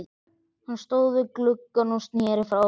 Hann stóð við gluggann og sneri frá mér.